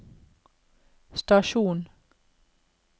stasjon